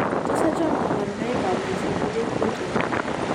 Tos achon kabarunaik ab Lysinuric protein ?